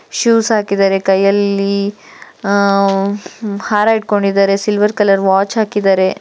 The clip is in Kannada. ಶೂಸ್ ಹಾಕಿದ್ದಾರೆ ಕೈಯಲ್ಲಿ ಆಯಾ ಹಾರ ಹಿಡ್ಕೊಂಡಿದ್ದಾರೆ ಸಿಲ್ವರ್ ಕಲರ್ ವಾಚ್ ಹಾಕಿದ್ದಾರೆ .